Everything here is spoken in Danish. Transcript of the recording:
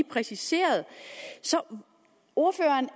præciseret ordføreren